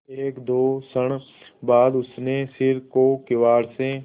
एकदो क्षण बाद उसने सिर को किवाड़ से